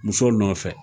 Muso nɔfɛ